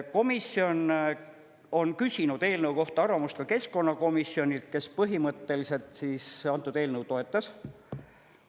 Komisjon on küsinud eelnõu kohta arvamust ka keskkonnakomisjonilt, kes põhimõtteliselt antud eelnõu toetas.